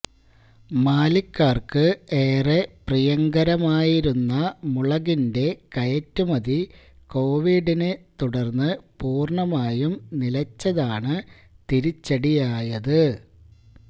മാലിക്കാര്ക്ക് ഏറെ പ്രിയങ്കരമായിരുന്ന മുളകിന്റെ കയറ്റുമതി കോവിഡിനെ തുടര്ന്ന് പൂര്ണമായും നിലച്ചതാണ് തിരിച്ചടിയായത്